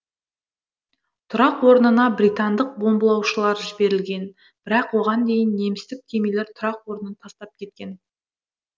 тұрақ орнына британдық бомбылаушылар жіберілген бірақ оған дейін немістік кемелер тұрақ орнын тастап кеткен